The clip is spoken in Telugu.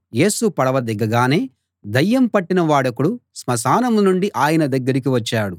యేసు పడవ దిగగానే దయ్యం పట్టిన వాడొకడు స్మశానం నుండి ఆయన దగ్గరికి వచ్చాడు